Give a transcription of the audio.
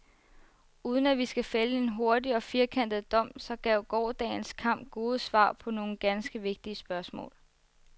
Uden at vi skal fælde en hurtig og firkantet dom, så gav gårsdagens kamp gode svar på nogle ganske vigtige spørgsmål.